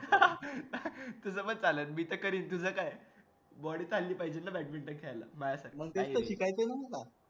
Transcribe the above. तसपण चाललं मी तर करिन पण तुझं काय आहे body चालली पाहिजे ना तस शिकायसाठी म्हणजे तेच तर पाहिजे ना